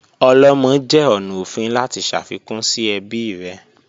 Olomo jẹ ọna ofin lati ṣafikun si ẹbi rẹ